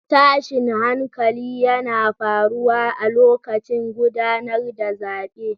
Tashin hankali yana faruwa a lokacin gudanar da zabe